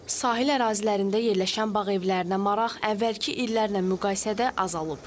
Sahil ərazilərində yerləşən bağ evlərinə maraq əvvəlki illərlə müqayisədə azalıb.